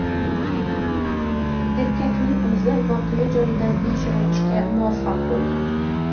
Erkakning o‘zi voqea joyidan yashirinishga muvaffaq bo‘lgan.